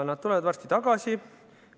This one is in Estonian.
Nad tulevad varsti tagasi.